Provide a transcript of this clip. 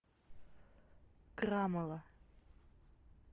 крамола